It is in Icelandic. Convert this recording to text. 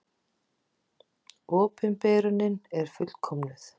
Opinberunin er fullkomnuð.